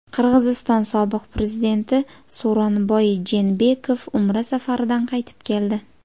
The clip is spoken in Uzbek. Qirg‘iziston sobiq prezidenti So‘ronboy Jeenbekov Umra safaridan qaytib keldi.